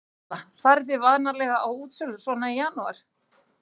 Erla: Farið þið vanalega á útsölur svona í janúar?